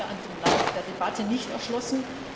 hat sich mir im Lauf der Debatte nicht erschlossen.